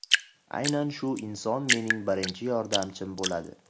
Aynan shu inson mening birinchi yordamchim bo‘ladi.